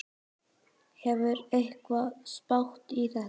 Hefur einhver spáð í þetta?